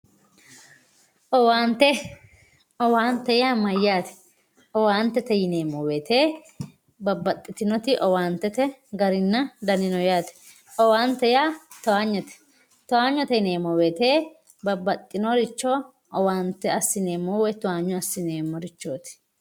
Owaante owaante yaa mayaate owaantete yineemowoyiite babaxitinoti Owaantete garinna dani no yaate owaante yaa toanyote toanyote yineemo woyiite babaxinoricho owaante assineemmo woy toanyo assineemorichooti.